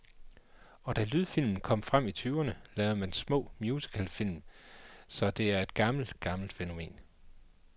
Og da lydfilmen kom frem i tyverne, lavede man små musicalfilm, så det er et gammelt, gammelt fænomen.